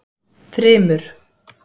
Þrymur